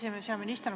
Hea minister!